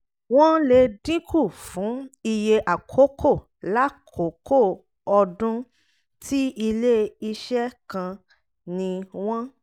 wọ́n lè dínkù fún iye àkókò lákòókò ọdún tí ile-iṣẹ́ kán ni wọ́n